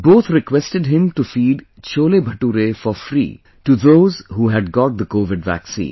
Both requested him to feed cholebhature for free to those who had got the COVID Vaccine